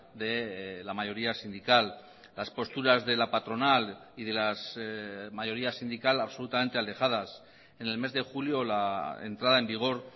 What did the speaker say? de la mayoría sindical las posturas de la patronal y de las mayorías sindical absolutamente alejadas en el mes de julio la entrada en vigor